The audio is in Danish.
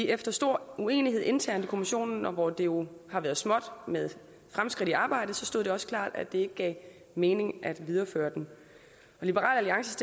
efter stor uenighed internt i kommissionen hvor det jo har været småt med fremskridt i arbejdet stod det også klart at det ikke gav mening at videreføre den liberal alliance